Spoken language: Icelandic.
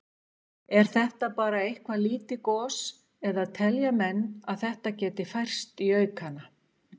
Er þetta bara eitthvað lítið gos eða telja menn að þetta geti færst í aukana?